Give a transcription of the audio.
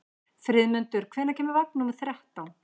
Friðmundur, hvenær kemur vagn númer þrettán?